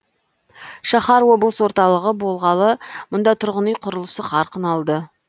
шаһар облыс орталығы болғалы мұнда тұрғын үй құрылысы қарқын алды